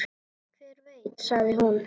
Hver veit, sagði hún.